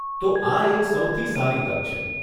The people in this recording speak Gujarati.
તો આ એક સૌથી સારી તક છે.